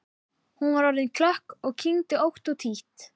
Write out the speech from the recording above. Hún var orðin klökk og kyngdi ótt og títt.